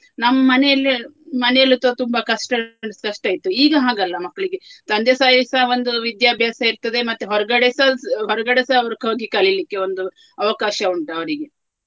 ನಮ್ಮ್ ಮನೆಯಲ್ಲೇ ಮನೆಯಲ್ಲಿ ತ~ ತುಂಬಾ ಕಷ್ಟ ಕಷ್ಟ ಇತ್ತು. ಈಗ ಹಾಗಲ್ಲ ಮಕ್ಳಿಗೆ ತಂದೆಸಹಿಸ ಒಂದು ವಿಧ್ಯಾಭ್ಯಾಸ ಇರ್ತದೆ ಮತ್ತೆ ಹೊರಗಡೆಸ ಹೊರಗಡೆಸ ಅವರು ಹೋಗಿ ಕಲಿಲಿಕ್ಕೆ ಒಂದು ಅವಕಾಶ ಉಂಟು ಅವರಿಗೆ.